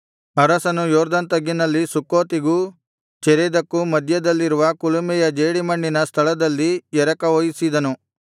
ಅರಸನು ಯೊರ್ದನ್ ತಗ್ಗಿನಲ್ಲಿ ಸುಕ್ಕೋತಿಗೂ ಚೆರೇದಕ್ಕೂ ಮಧ್ಯದಲ್ಲಿರುವ ಕುಲುಮೆಯ ಜೇಡಿಮಣ್ಣಿನ ಸ್ಥಳದಲ್ಲಿ ಎರಕ ಹೊಯ್ಯಿಸಿದನು